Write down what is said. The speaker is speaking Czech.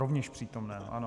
Rovněž přítomen, ano.